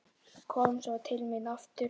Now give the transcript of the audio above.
Kom svo til mín aftur.